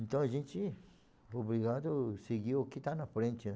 Então a gente foi obrigado a seguir o que está na frente, né.